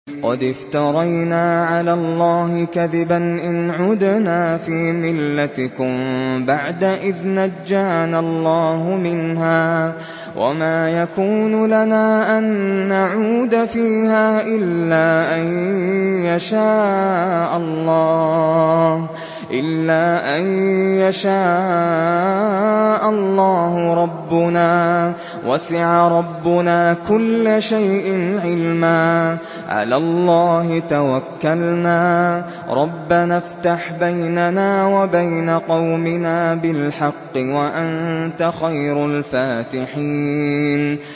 قَدِ افْتَرَيْنَا عَلَى اللَّهِ كَذِبًا إِنْ عُدْنَا فِي مِلَّتِكُم بَعْدَ إِذْ نَجَّانَا اللَّهُ مِنْهَا ۚ وَمَا يَكُونُ لَنَا أَن نَّعُودَ فِيهَا إِلَّا أَن يَشَاءَ اللَّهُ رَبُّنَا ۚ وَسِعَ رَبُّنَا كُلَّ شَيْءٍ عِلْمًا ۚ عَلَى اللَّهِ تَوَكَّلْنَا ۚ رَبَّنَا افْتَحْ بَيْنَنَا وَبَيْنَ قَوْمِنَا بِالْحَقِّ وَأَنتَ خَيْرُ الْفَاتِحِينَ